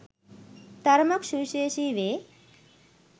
තරමක් සුවිශේෂී වේ